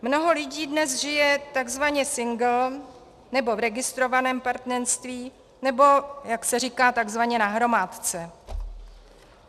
Mnoho lidí dnes žije takzvaně single nebo v registrovaném partnerství nebo, jak se říká, takzvaně na hromádce.